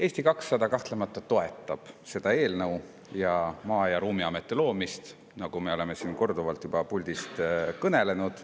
Eesti 200 kahtlemata toetab seda eelnõu ning Maa‑ ja Ruumiameti loomist, nagu me oleme korduvalt juba puldis kõnelenud.